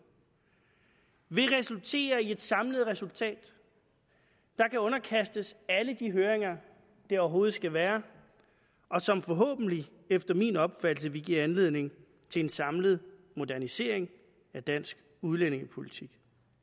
vil resultere i i et samlet resultat der kan underkastes alle de høringer der overhovedet skal være og som forhåbentlig efter min opfattelse vil give anledning til en samlet modernisering af dansk udlændingepolitik